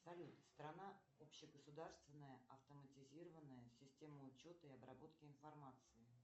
салют страна общегосударственная автоматизированная система учета и обработки информации